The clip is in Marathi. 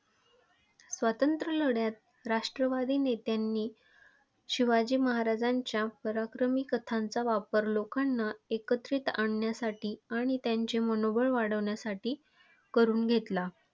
स्वातंत्र्य लढ्यात राष्ट्रवादी नेत्यांनी शिवाजी महाराजांच्या पराक्रमी कथांचा वापर लोकांना एकत्रित आणण्यासाठी आणि त्यांचे मनोबल वाढवण्यासाठी करून घेतला.